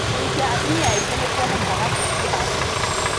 Kũhikia atumia aingĩ nĩ kũonekaga kaingĩ Afrika.